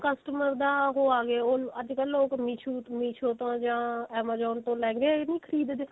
customer ਦਾ ਉਹ ਅਗੇ ਉਹ ਅੱਜਕਲ ਲੋਕ ਮਿਸ਼ੁ meesho ਤੋਂ ਜਾ amazon ਤੋਂ ਲਹਿੰਗੇ ਨੀ ਖਰੀਦਦੇ